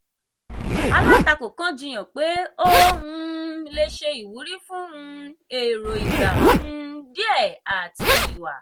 alátakò kan jiyàn pé ó um le ṣe ìwúrí fún um èrò ìgbà um díè àti ìwà.